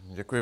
Děkuji.